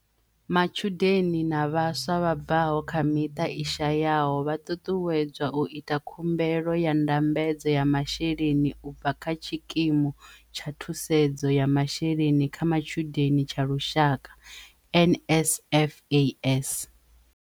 Matshudeni na vhaswa vha bvaho kha miṱa i shayaho vha ṱuṱuwedzwa u ita khumbelo ya ndambedzo ya masheleni u bva kha Tshikimu tsha Thusedzo ya Masheleni kha Matshudeni tsha Lushaka NSFAS.